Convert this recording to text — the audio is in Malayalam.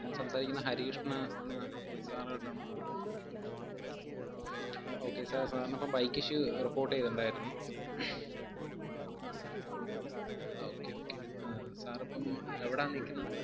ഞാൻ സംസാരിക്കുന്ന ഹരികൃഷ്ണൻ എന്ന sir ഉവായിട്ടാണോ? okay sir, sir ന് അപ്പം bike issue report എയ്തിട്ടിണ്ടായിരുന്നു. okay okay ആഹ് sir ഇപ്പം എവിടാ നിക്കുന്ന?